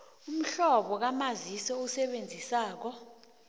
umhlobo kamazisi owusebenzisako